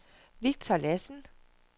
Victor Lassen